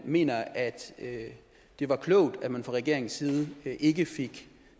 mener at det var klogt at man fra regeringens side ikke fik